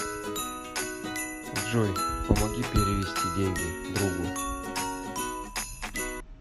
джой помоги перевести деньги другу